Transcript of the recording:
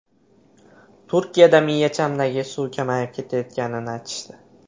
Turkiyada miyachamdagi suv kamayib ketayotganini aytishdi.